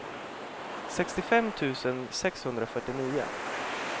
sextiofem tusen sexhundrafyrtionio